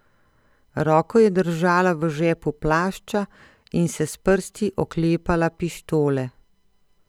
Roko je držala v žepu plašča in se s prsti oklepala pištole.